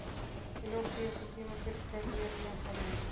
Í lok síðasta tímabils gerði ég nýjan samning.